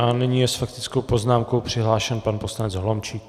A nyní je s faktickou poznámkou přihlášen pan poslanec Holomčík.